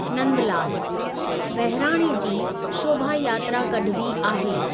नंदलालु: बहिराणे जी शोभा यात्रा कढिबी आहे।